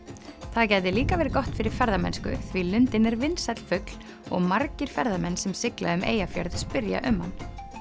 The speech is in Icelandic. það gæti líka verið gott fyrir ferðamennsku því lundinn er vinsæll fugl og margir ferðamenn sem sigla um Eyjafjörð spyrja um hann